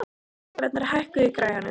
Leiknir, hækkaðu í græjunum.